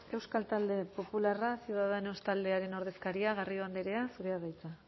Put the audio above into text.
euskal talde popularra ciudadanos taldearen ordezkaria garrido andrea zurea da hitza